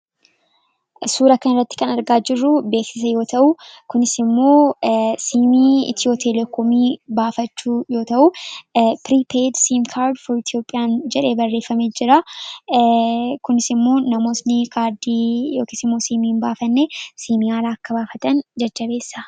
Suuraa kanarratti kan argaa jirru beeksisa yommuu ta'u, kunis immoo siimii Itiyoo Telekoomii baafachuu yoo ta'u, ' Piriipeyid Siimkaard Foor Itoophiyaan' jedhee bareeffamee jiraa. Kunis immoo namootni kaardii yookiis immoo siimii hin baafanne siimii haaraa akka baafatan jajjabeessa.